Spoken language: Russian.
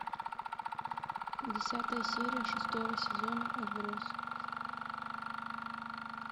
десятая серия шестого сезона отбросы